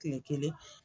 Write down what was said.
Kile kelen